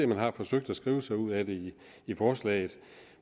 man har forsøgt at skrive sig ud af det i forslaget